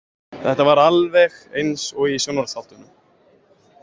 Þetta var alveg eins og í sjónvarpsþáttunum.